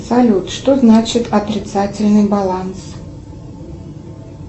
салют что значит отрицательный баланс